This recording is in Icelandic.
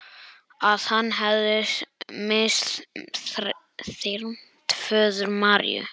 Að hann hefði misþyrmt föður Maríu.